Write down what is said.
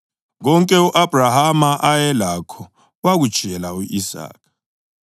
Konke u-Abhrahama ayelakho wakutshiyela u-Isaka.